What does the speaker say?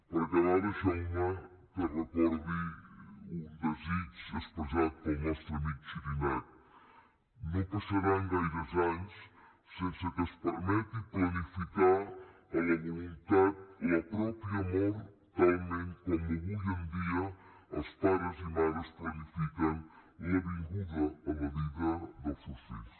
per acabar deixeu me que recordi un desig expressat pel nostre amic xirinacs no passaran gaires anys sense que es permeti planificar a la voluntat la pròpia mort talment com avui en dia els pares i mares planifiquen la vinguda a la vida dels seus fills